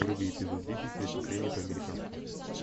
вруби эпизод десять преступление по американски